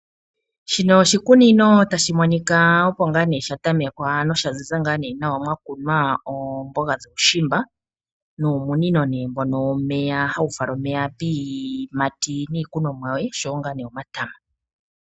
Shino oshikunino tashi monika opo ngaa ne sha tamekwa, nosha ziza ngaa nee nawa, mwa kunwa oomboga dhuushimba nuumunino nee mbono womeya hawu fala omeya piiyimati nnikunomwa yoye noshowo ngaa nee omatama.